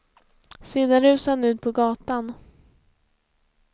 Sedan rusade han ut på gatan.